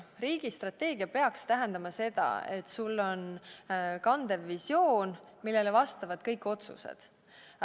Riigi strateegia peaks tähendama seda, et sul on kandev visioon, millele vastavad kõik otsused.